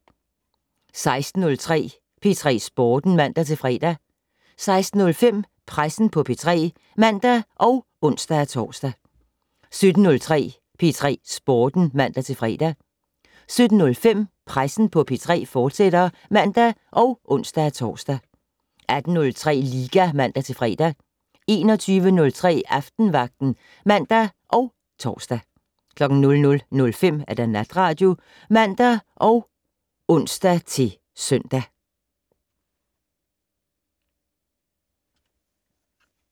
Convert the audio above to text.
16:03: P3 Sporten (man-fre) 16:05: Pressen på P3 (man og ons-tor) 17:03: P3 Sporten (man-fre) 17:05: Pressen på P3, fortsat (man og ons-tor) 18:03: Liga (man-fre) 21:03: Aftenvagten (man og tor) 00:05: Natradio (man og ons-søn)